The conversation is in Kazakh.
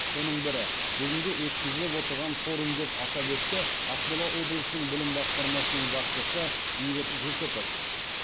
соның бірі бүгінгі өткізіліп отырған форум деп атап өтті ақмола облысының білім басқармасының басшысы бейбіт жүсіпов